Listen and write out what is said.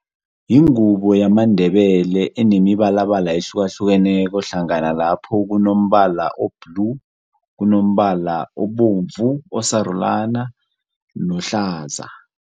Yingubo yamaNdebele enemibalabala ehlukahlukeneko hlangana lapho kunombala o-blue, kunombalala obovu, osarulana, nohlaza.